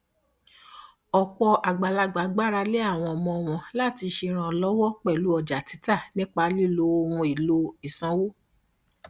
ọpọ àgbàlagbà gbára lé àwọn ọmọ wọn láti ṣe ìrànlọwọ pẹlú ọjà títà nípa lílo ohun èlò ìsanwó